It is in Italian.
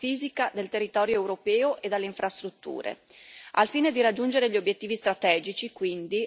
Sono infatti convinta che l'unità passi anche dall'unità fisica del territorio europeo e dalle infrastrutture.